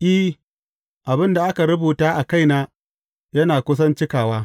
I, abin da aka rubuta a kaina yana kusan cikawa.